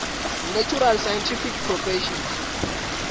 natural scientific professions